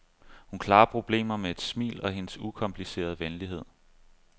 Hun klarer problemer med et smil og hendes ukomplicerede venlighed.